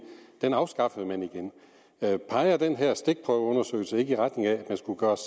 den lov afskaffede man igen peger den her stikprøveundersøgelse ikke i retning af at der skulle gøres